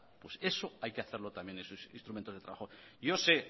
eso hay que hacerlo también es un instrumento de trabajo yo sé